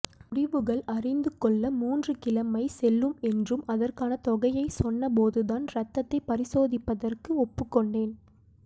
முடிவுகள் அறிந்து கொள்ள மூன்று கிழமை செல்லும் என்றும் அதற்கான தொகையை சொன்ன போது நான் இரத்தத்தை பரிசோதிப்பதற்கு ஒப்புக்கொண்டேன்